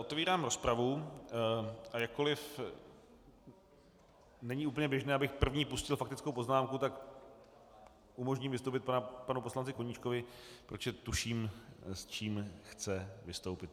Otevírám rozpravu, a jakkoliv není úplně běžné, abych první pustil faktickou poznámku, tak umožním vystoupit panu poslanci Koníčkovi, protože tuším, s čím chce vystoupit.